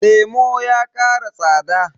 lemo ya ƙara tsada